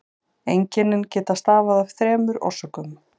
Einkennin geta stafað af þremur orsökum.